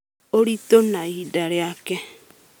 ũritũ na ihinda rĩake.